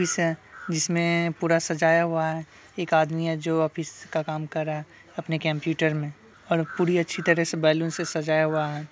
Office है जिसमें पूरा सजाया हुआ है| एक आदमी है जो ऑफिस का काम कर रहा है अपने कम्प्यूटर में और पूरी अच्छी तरह से बैलून से सजाया हुआ है।